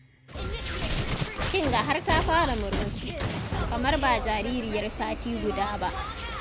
Kin ga har ta fara murmushi. Kamar ba jaririyar sati guda ba.